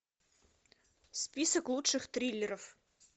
список лучших триллеров